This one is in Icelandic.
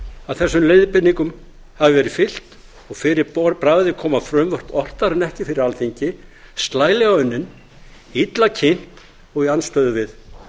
að þessum leiðbeiningum hafi verið fylgt og fyrir bragðið koma frumvörp oftar en ekki fyrir alþingi slælega unnin illa kynnt og í andstöðu við